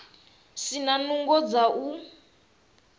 si na nungo dza u